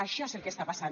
això és el que està passant